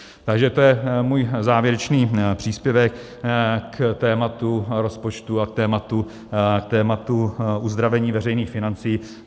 Takže to je můj závěrečný příspěvek k tématu rozpočtu a k tématu uzdravení veřejných financí.